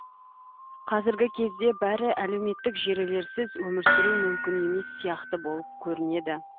қазіргі кезде бәрі әлеуметтік желілерсіз өмір сүру мүмкін емес сияқты болып көрінеді